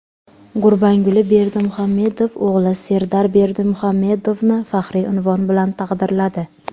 Gurbanguli Berdimuhamedov o‘g‘li Serdar Berdimuhamedovni faxriy unvon bilan taqdirladi.